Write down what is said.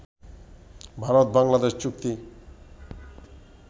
ভারত-বাংলাদেশ চুক্তি